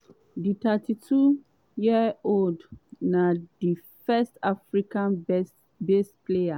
di 32-year-old na di first african-based player